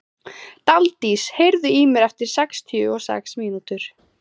Daldís, heyrðu í mér eftir sextíu og sex mínútur.